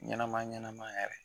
Ɲɛnɛma ɲɛnɛma yɛrɛ.